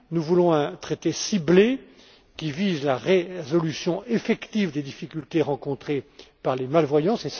rouges. Nous voulons un traité ciblé, qui vise la résolution effective des difficultés rencontrées par les malvoyants.